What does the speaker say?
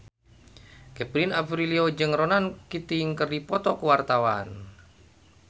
Kevin Aprilio jeung Ronan Keating keur dipoto ku wartawan